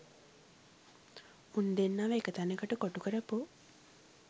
උන් දෙන්නව එක තැනකට කොටු කරපු